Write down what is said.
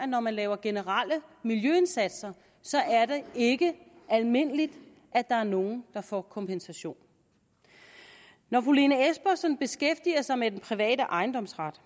når man laver generelle miljøindsatser ikke er almindeligt at der er nogle der får kompensation når fru lene espersen beskæftiger sig med den private ejendomsret